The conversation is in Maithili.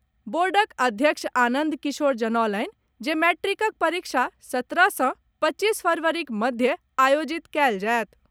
बोर्डक अध्यक्ष आनंद किशोर जनौलनि जे मैट्रिकक परीक्षा सत्रह सॅ पच्चीस फरवरीक मध्य आयोजित कएल जाएत।